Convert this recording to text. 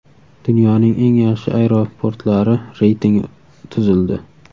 Dunyoning eng yaxshi aeroportlari reytingi tuzildi.